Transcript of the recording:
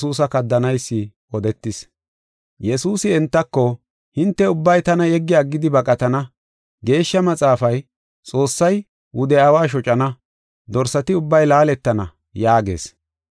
Yesuusi entako, “Hinte ubbay tana yeggi aggidi baqatana; Geeshsha Maxaafay, “ ‘Xoossay wude aawa shocana, dorsati ubbay laaletana’ yaagees.